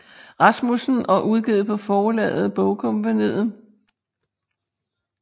Rasmussen og udgivet på forlaget Bogkompagniet